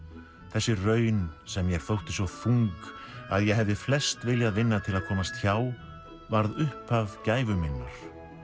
þessi raun sem mér þótti svo þung að ég hefði flest viljað vinna til að komast hjá varð upphaf gæfu minnar